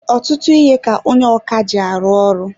Ọtụtụ ihe ka onye ọkà ji arụ ọrụ.